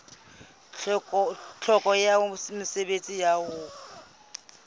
tlhokeho ya mosebetsi wa ho